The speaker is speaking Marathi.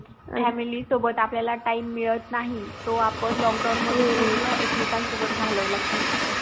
family सोबत आपल्यायला time मिळत नाही तो आपण lockdown मध्ये पूर्ण एक मेकांनसोबत घालवला कि असं